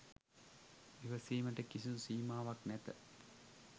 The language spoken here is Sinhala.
ඉවසීමට කිසිදු සීමාවක් නැත.